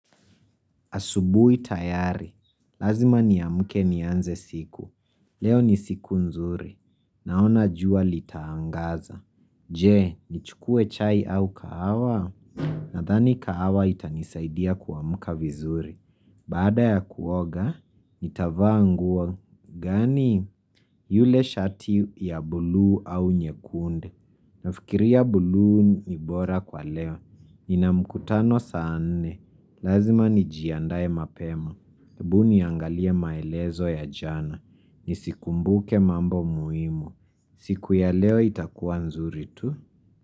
Asubuhi tayari. Lazima niamke nianze siku. Leo ni siku nzuri. Naona jua litaangaza. Je, nichukue chai au kahawa? Nadhani kahawa itanisaidia kuamka vizuri. Baada ya kuoga, nitavaa nguo. Gani yule shati ya bluu au nyekundu? Nafikiria bluu ni bora kwa leo Nina mkutano saa nne Lazima nijiandae mapema hebu niangalie maelezo ya jana Nisikumbuke mambo muhimu siku ya leo itakuwa nzuri tu?